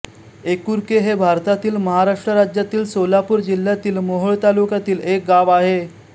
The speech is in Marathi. एकुर्के हे भारतातील महाराष्ट्र राज्यातील सोलापूर जिल्ह्यातील मोहोळ तालुक्यातील एक गाव आहे